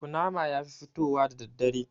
Ƙunama yafi fitowa da daddare